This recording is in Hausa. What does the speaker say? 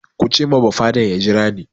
Ku ce ma bafaden ya jira ni!